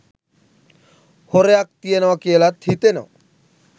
හොරයක් තියනවා කියලත් හිතෙනවා.